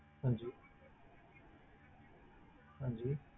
ਹਾਂਜੀ ਹਾਂਜੀ।